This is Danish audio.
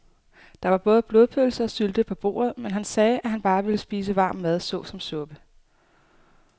Der var både blodpølse og sylte på bordet, men han sagde, at han bare ville spise varm mad såsom suppe.